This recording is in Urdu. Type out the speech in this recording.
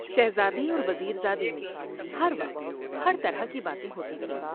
شہزادے اور وزیر زادے میں ہر وقت ہر طرح کی باتیں ہوتی تھیں ۔